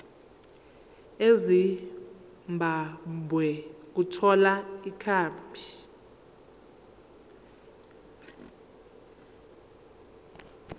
ezimbabwe ukuthola ikhambi